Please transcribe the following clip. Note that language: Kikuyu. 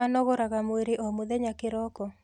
Anogoraga mwĩrĩ o mũthenya kĩroko?